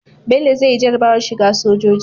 Bello zai yi jarabawar shiga sojoji